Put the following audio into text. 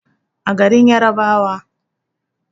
a garin yarabawa